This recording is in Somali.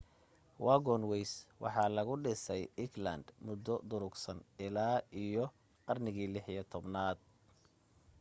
wagonways waxa lagu dhisay england muddo durugsan ilaa iyo qarnigii 16aad